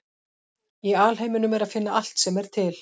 Í alheiminum er að finna allt sem er til.